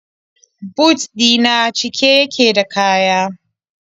But ɗi na cike yake da kaya.